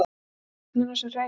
Sérðu stjörnuna sem hreyfist?